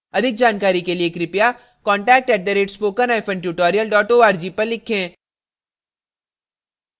अधिक जानकारी के लिए कृपया contact @spokentutorial org पर लिखें